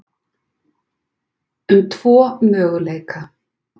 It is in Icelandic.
um tvo möguleika.